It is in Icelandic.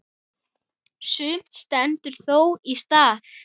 Sumt stendur þó í stað.